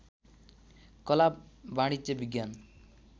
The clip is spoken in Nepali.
कला वाणिज्य विज्ञान